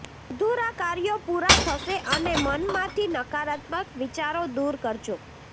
અધૂરા કાર્યો પૂરા થશે અને મનમાંથી નકારાત્મક વિચારો દૂર કરજો